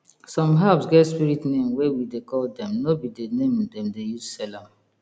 some herbs get spirit name wey we dey call dem no be the name dem dey use sell am